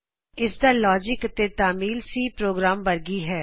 ਇਸ ਦਾ ਲੌਜਿੱਕ ਅਤੇ ਇਸ ਦੀ ਤਾਮੀਲ C ਪ੍ਰੋਗਰਾਮ ਵਰਗੀ ਹੀ ਹੈ